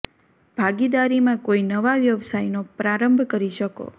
ભાગીદારી મા કોઈ નવા વ્યવસાય નો પ્રારંભ કરી શકો